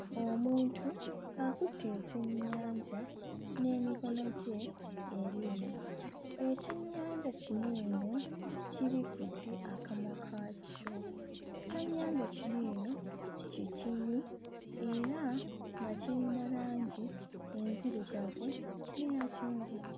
Omuntu akutte ekyennyanja n'emikono gye ebiri. Ekyennyanja kino eno kibikkudde akamwa kakyo, ekyennyanja kino eno kitini era nga kiyina langi enzirugavu n'eya kyenvu.